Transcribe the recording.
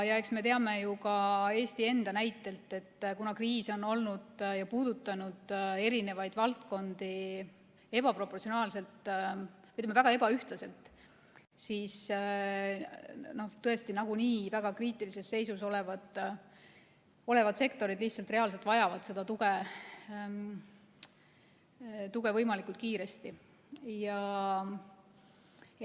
Eks me teame ju ka Eesti enda näite põhjal, et kuna kriis on puudutanud eri valdkondi ebaproportsionaalselt, ütleme, väga ebaühtlaselt, siis tõesti nagunii väga kriitilises seisus olevad sektorid lihtsalt reaalselt vajavad tuge võimalikult kiiresti.